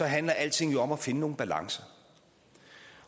handler alting om at finde nogle balancer